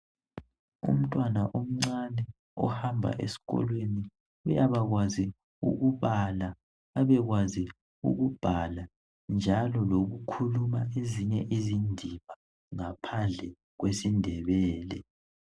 Umtwana omncane ohamba esikolweni uyabakwazi ukubala abe kwazi ukubhala njalo lokukhuluma ezinye izindimi ngaphandle kwesindebele